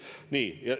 Nii ...